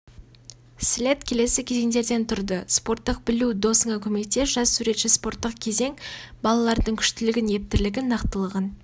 слет келесі кезеңдерден тұрды спорттық білу досыңа көмектес жас суретші спорттық кезең балалардың күштілігін ептілігін нақтылығын